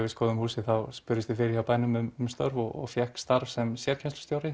skoðaði húsið spurði ég fyrir á bænum um störf og fékk starf sem